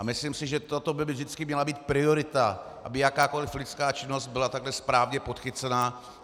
A myslím si, že toto by vždycky měla být priorita, aby jakákoliv lidská činnost byla takto správně podchycena.